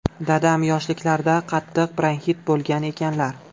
Dadam yoshliklarida qattiq bronxit bo‘lgan ekanlar.